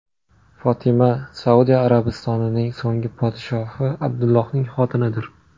Fotima Saudiya Arabistonining so‘nggi podshohi Abdullohning xotinidir.